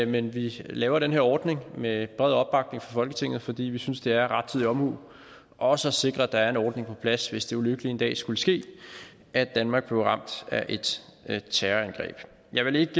men vi laver den her ordning med bred opbakning fra folketinget fordi vi synes det er rettidig omhu også at sikre at der er en ordning på plads hvis det ulykkelige en dag skulle ske at danmark blev ramt af et terrorangreb jeg vil ikke